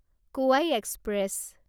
কোৱাই এক্সপ্ৰেছ